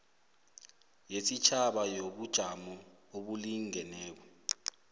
yesitjhaba yobujamo obulingeneko